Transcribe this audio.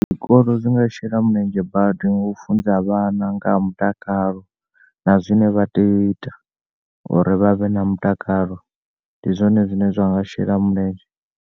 Zwikolo zwinga shela mulenzhe badi ngau funza vhana ngaha mutakalo na zwine vha tea u ita uri vhavhe na mutakalo. Ndi zwone zwine zwanga shela mulenzhe.